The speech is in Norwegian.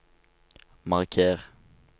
marker